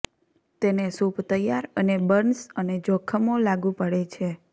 તેને સૂપ તૈયાર અને બર્ન્સ અને જખમો લાગુ પડે છે